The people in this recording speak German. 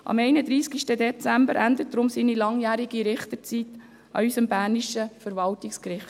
Am 31. Dezember 2019 endet deshalb seine langjährige Richterzeit an unserem bernischen Verwaltungsgericht.